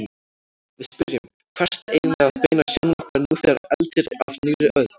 Við spyrjum: Hvert eigum við að beina sjónum okkar nú þegar eldir af nýrri öld?